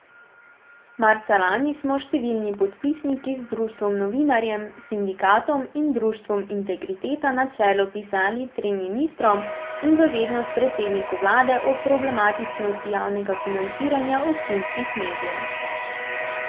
Marca lani smo številni podpisniki z Društvom novinarjev, sindikatom in Društvom Integriteta na čelu pisali trem ministrom in v vednost predsedniku vlade o problematičnosti javnega financiranja občinskih medijev.